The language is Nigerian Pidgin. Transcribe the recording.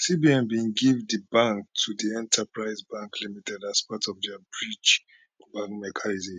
cbn bin give di bank to di enterprise bank limited as part of dia bridge bank mechanism